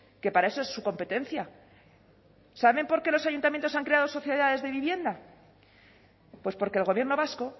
que para eso es su competencia saben por qué los ayuntamientos han creado sociedades de vivienda pues porque el gobierno vasco